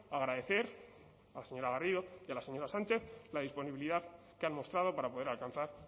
agradecer a la señora garrido y a la señora sánchez la disponibilidad que han mostrado para poder alcanzar